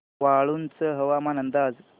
वाळूंज हवामान अंदाज